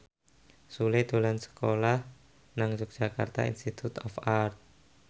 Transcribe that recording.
Sule lagi sekolah nang Yogyakarta Institute of Art